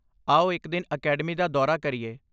ਆਓ ਇੱਕ ਦਿਨ ਅਕੈਡਮੀ ਦਾ ਦੌਰਾ ਕਰੀਏ!